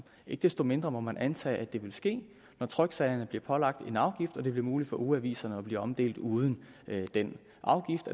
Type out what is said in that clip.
ikke desto mindre må man antage at det vil ske når tryksagerne bliver pålagt en afgift og det bliver muligt for ugeaviserne at blive omdelt uden den afgift